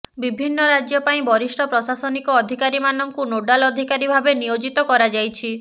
ବିିଭିନ୍ନ ରାଜ୍ୟ ପାଇଁ ବରିଷ୍ଠ ପ୍ରଶାସନିକ ଅଧିକାରୀମାନଙ୍କୁ ନୋଡାଲ୍ ଅଧିକାରୀ ଭାବେ ନିୟୋଜିତ କରାଯାଇଛି